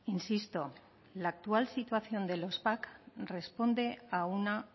insisto la actual situación de los pac responde a una